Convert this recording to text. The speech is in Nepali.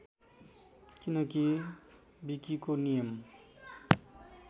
किनकी विकिको नियम